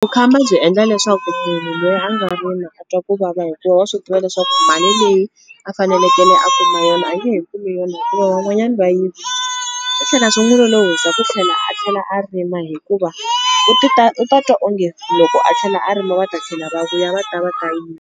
Vukhamba byi endla leswaku munhu loyi a nga rima a twa ku vava hikuva wa swi tiva leswaku mali leyi a fanelekele a kuma yona a nge he kumi yona hikuva van'wanyana va yivini, swi tlhela swi n'wu lolohisa ku tlhela a tlhela a rima hikuva u u ta twa onge loko a tlhela a rima va ta tlhela va vuya va ta va ta yiva.